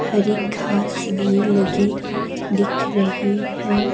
हरी घास भी लगी दिख रही है।